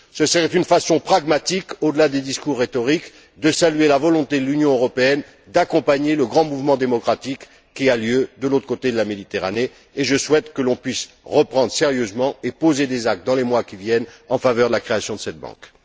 Ce serait une façon pragmatique, au delà des discours rhétoriques, de saluer la volonté de l'Union européenne d'accompagner le grand mouvement démocratique qui a lieu de l'autre côté de la Méditerranée, et je souhaite que l'on puisse le reprendre sérieusement et poser des actes, dans les mois qui viennent, en faveur de la création de cette banque.